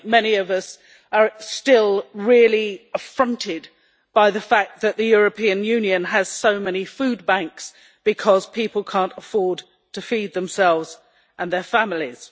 I think many of us are still affronted by the fact that the European Union has so many food banks because people cannot afford to feed themselves and their families.